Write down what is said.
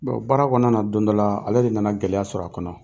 Bon baara kɔnɔna na don dɔ laa, ale de nana gɛlɛya sɔrɔ a kɔnɔ.